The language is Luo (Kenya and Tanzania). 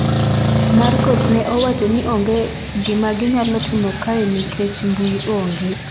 Markos ne owacho ni onge gima ginyalo timo kae nikech mbui onge